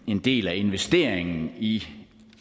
en del af investeringen i